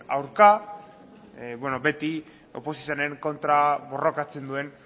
aurka beti oposizioaren kontra borrokatzen duen